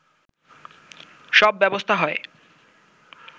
সব ব্যবস্থা হয়